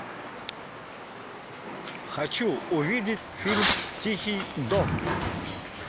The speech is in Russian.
хочу увидеть фильм тихий дон